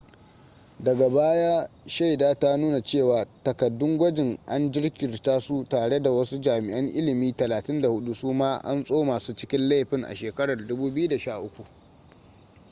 daga baya shaida ta nuna cewa takaddun gwajin an jirkita su tare da wasu jami'an ilimi 34 suma an tsoma su cikin laifin a shekarar 2013